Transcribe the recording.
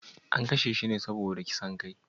An kashe shi ne saboda kisan kai?